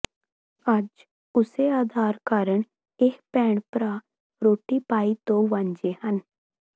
ਅੱਜ ਉਸੇ ਆਧਾਰ ਕਾਰਨ ਇਹ ਭੈਣ ਭਰਾ ਰੋਟੀ ਪਾਈ ਤੋਂ ਵਾਂਝੇ ਹਨ